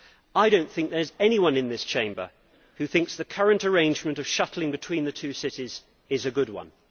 I do not think that there is anyone in this chamber who thinks the current arrangement of shuttling between the two cities is a good one.